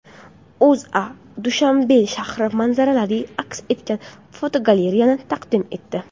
O‘zA Dushanbe shahri manzaralari aks etgan fotogalereyani taqdim etdi .